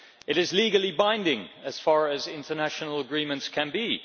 It is legally binding, in so far as international agreements can be.